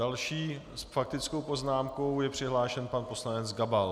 Další s faktickou poznámkou je přihlášen pan poslanec Gabal.